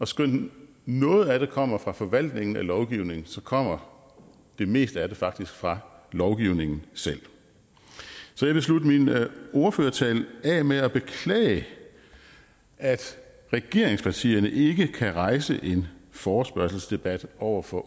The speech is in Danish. skønt noget af det kommer fra forvaltningen af lovgivningen kommer det meste af det faktisk fra lovgivningen selv så jeg vil slutte min ordførertale af med at beklage at regeringspartierne ikke kan rejse en forespørgselsdebat over for